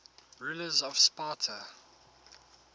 rulers of sparta